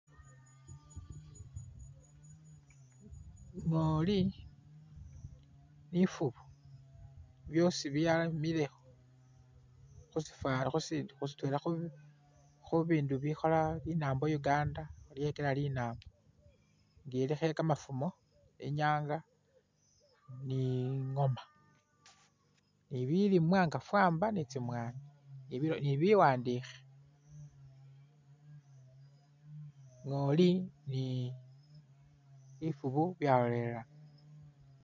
Ngooli ni ifuubu byosi byamile khusifa khusi khusitwela khubindu bikhoola linambo Uganda lyekeela linambo nga eiikho kamafumo ,inyanga ni ingooma ni bilimwa nga famba ni tsimwanyi nibi ni biwandikhe ,ngooli ni ifuubu byalolelana